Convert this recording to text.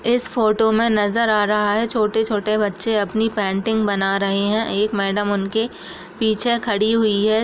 इस फोटो में नजर आ रहा है छोटे-छोटे बच्चे अपनी पेंटिंग बना रहे है एक मेडम उनके पीछे खड़ी हुई है।